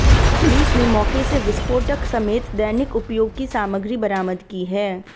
police ने मौके से विस्फोटक समेत दैनिक उपयोग की सामग्री बरामद की है